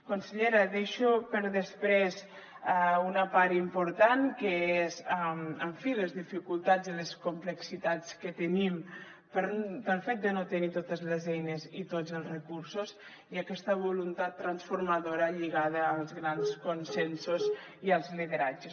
consellera deixo per després una part important que és en fi les dificultats i les complexitats que tenim pel fet de no tenir totes les eines i tots els recursos i aquesta voluntat transformadora lligada als grans consensos i als lideratges